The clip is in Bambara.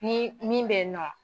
Ni min bɛ yen nɔ.